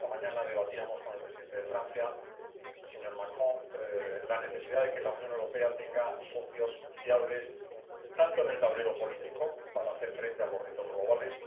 Esta mañana debatíamos con el presidente de Francia, el señor Macron, la necesidad de que la Unión Europea tenga socios fiables en el tablero político para hacer frente a los retos globales